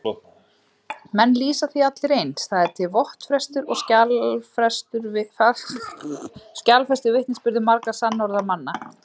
Menn lýsa því allir eins, það er til vottfestur og skjalfestur vitnisburður margra sannorðra manna.